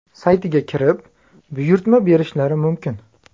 saytiga kirib, buyurtma berishlari mumkin.